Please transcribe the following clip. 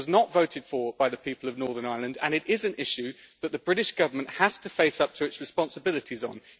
It was not voted for by the people of Northern Ireland and it is an issue that the British Government has to face up to its responsibilities on.